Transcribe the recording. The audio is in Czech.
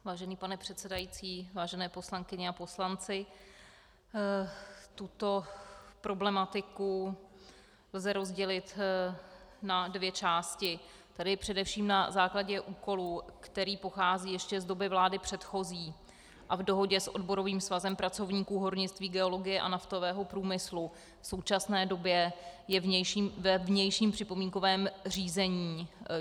Vážený pane předsedající, vážené poslankyně a poslanci, tuto problematiku lze rozdělit na dvě části, tedy především na základě úkolu, který pochází ještě z doby vlády předchozí, a v dohodě s odborovým svazem pracovníků hornictví, geologie a naftového průmyslu v současné době je ve vnějším připomínkovém řízení.